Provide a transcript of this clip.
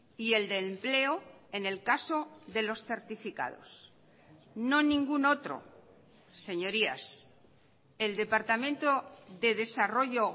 y el del empleo en el caso de los certificados no ningún otro señorías el departamento de desarrollo